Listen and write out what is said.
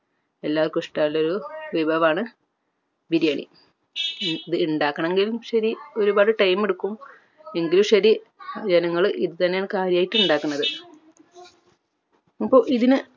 എല്ലാർക്കും ഇഷ്ട്ടമുള്ള വിഭവമാണ് ബിരിയാണി ഇത് ഇണ്ടാക്കണെങ്കിലും ശരി ഒരുപാട് time എടുക്കും എങ്കിലും ശരി ജനങ്ങൾ ഇത് തന്നെയാണ് കാര്യായിട്ട് ഇണ്ടാക്കുന്നത് അപ്പൊ ഇതിന്